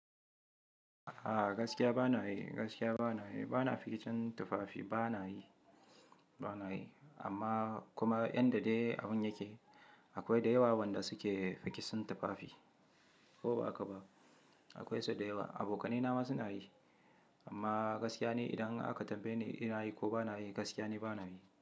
A gaskiya ba na yi, gaskiya ba na yi. Ba na fikin tufafi ba na yi, ba na yi. Amma kuma inda dai abun yake akwai da yawa wanda suke rikicin tufafi ko ba haka ba. Akwai su da yawa. Abokanai na ma su na yi. Amma gaskiya ni idan aka tambaye ni, ina yi ko ba na yi, gaskiya ni ba na yi.